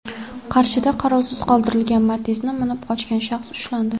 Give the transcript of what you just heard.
Qarshida qarovsiz qoldirilgan Matiz’ni minib qochgan shaxs ushlandi.